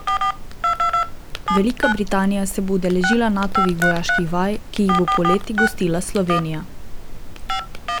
Velika Britanija se bo udeležila Natovih vojaških vaj, ki jih bo poleti gostila Slovenija.